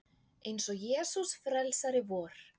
Eins og Jesús frelsari vor.